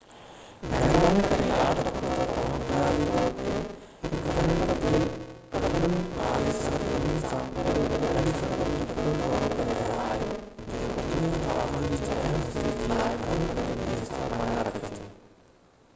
مهرباني ڪري ياد رکو تہ توهان بنيادي طور تي هڪ گهڻن قبرن واري سر زمين سان گڏوگڏ اهڙي سرزمين جو پڻ دورو ڪري رهيا آهيو جيڪو دنيا جي آبادي جي اهم حصي جي لاءِ گھڻو ڪري بي حساب معنيٰ رکي ٿي